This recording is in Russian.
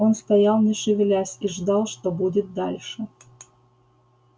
он стоял не шевелясь и ждал что будет дальше